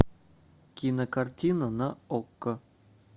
кинокартина на окко